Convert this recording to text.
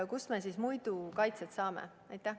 Kust me siis muidu kaitset saame?